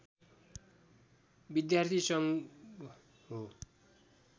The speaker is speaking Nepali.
विद्यार्थी सङ्घ हो